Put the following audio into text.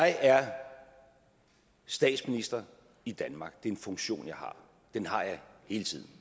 jeg er statsminister i danmark det er en funktion jeg har den har jeg hele tiden